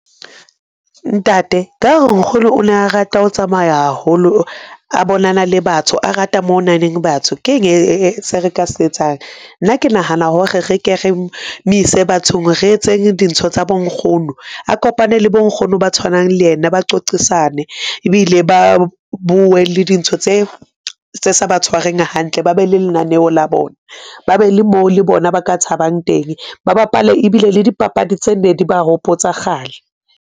Ntate ka hore Nkgono o ne a rata ho tsamaya haholo, a bonana le batho a rata moo ho nang leng batho, keng se re ka se etsang? nna ke nahana hore re ke re mo ise bathong re etseng dintho tsa bo nkgono a kopane le le bo nkgono ba tshwanang le ena, ba qoqisane ebile ba bue le dintho tse tse sa ba tshwareng hantle. Ba be le lenaneo la bona, ba be le moo le bona ba ka thabang teng, ba bapale ebile le dipapadi tse ne di ba hopotsa kgale.